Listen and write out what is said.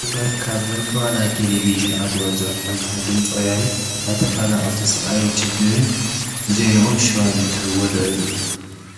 ጋዜጣ ናይ ቴሌቭዥን ኣገልግሎት ዘርፊ እንትኾን ድምፂ ወያነ ናይ ተፈናቐልቲ ስቓይን ሽግርን ብዜነኦም ሽፋን እትህብዎ ዘርኢ እዩ።